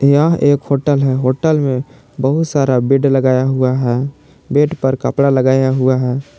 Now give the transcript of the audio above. यह एक होटल है होटल में बहोत सारा बेड लगाया हुआ है बेड पर कपड़ा लगाया हुआ है।